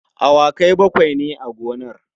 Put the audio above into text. Awakai bakwai ne a gonar.